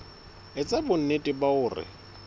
e etsa bonnete ba hore